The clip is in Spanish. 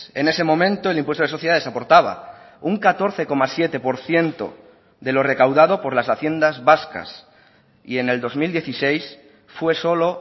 en ese momento el impuesto de sociedades aportaba un catorce coma siete por ciento de lo recaudado por las haciendas vascas y en el dos mil dieciséis fue solo